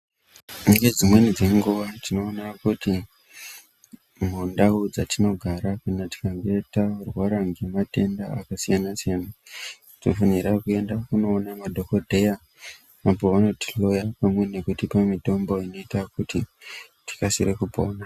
Nedzimweni dzenguwa tinoona kuti mundau dzatinogara kana tikange tarwara ngematenda akasiyanasiyana tinofanira kunoona madhokodheya apo vanotihloya nekutipa mitombo inoita kuti tikasire kupona.